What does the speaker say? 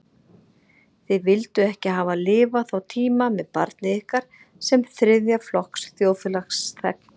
Þið vilduð ekki hafa lifað þá tíma með barnið ykkar sem þriðja flokks þjóðfélagsþegn.